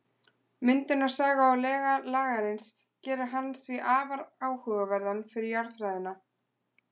Myndunarsaga og lega Lagarins gera hann því afar áhugaverðan fyrir jarðfræðina.